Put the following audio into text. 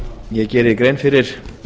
ég geri grein fyrir